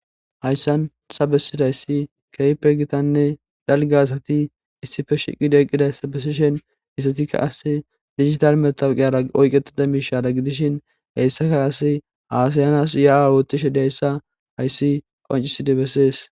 Haysan betidayissi keehippe dalgga gididda issippe shiqqida besishshen izetikka kasse digital meththaweqiyara oyiqetira mishshadan gidishin qasi hasayanasi woththiza giddishshen haysi qonc'isidi besses.